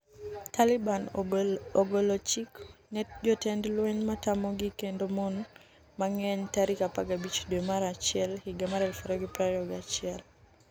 Taliban ogolo chik ne jotend lweny matamogi kendo mon mang'eny tarik 15 dwe mar achiel higa mar 2021